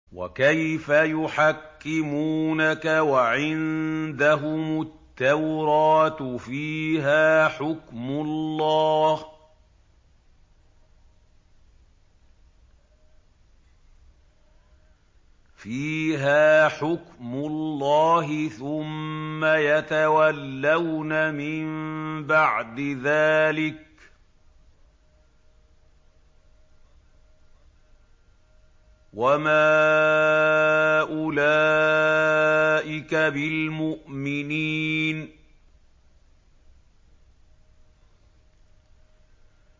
وَكَيْفَ يُحَكِّمُونَكَ وَعِندَهُمُ التَّوْرَاةُ فِيهَا حُكْمُ اللَّهِ ثُمَّ يَتَوَلَّوْنَ مِن بَعْدِ ذَٰلِكَ ۚ وَمَا أُولَٰئِكَ بِالْمُؤْمِنِينَ